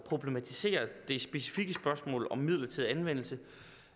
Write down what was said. problematiserer det specifikke spørgsmål om midlertidig anvendelse